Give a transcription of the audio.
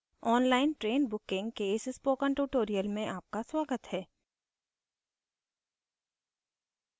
online train booking के इस spoken tutorial में आपका स्वागत है